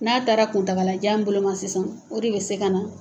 N'a taara kuntagajan boloma sisan, o de bɛ se ka na